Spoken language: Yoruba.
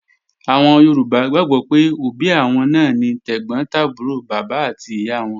Àwọn Yorùbá gbàgbọ́ pé òbí àwọn náà ni tẹ̀gbọ́n tàbúrò bàbá àti ìyá wọn